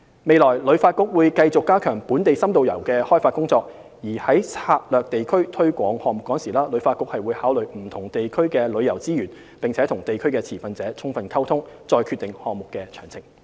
未來，旅發局會繼續加強本地深度遊的開發工作，而在策劃地區推廣項目時，旅發局會考慮不同地區的旅遊資源，並與地區持份者充分溝通，再決定項目的詳情。